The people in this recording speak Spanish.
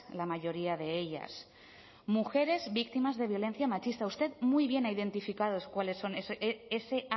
la mayoría de ellas mujeres víctimas de violencia machista usted muy bien ha identificado cuáles son ese